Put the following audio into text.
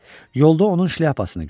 Yolda onun şlyapasını gördüm.